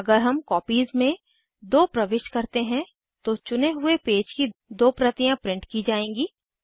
अगर हम कॉपीज में 2 प्रविष्ट करते हैं तो चुने हुए पेज की दो प्रतियाँ प्रिंट की जाएँगी